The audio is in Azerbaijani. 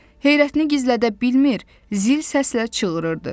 Heyrətini gizlədə bilmir, zil səslə çığırırdı.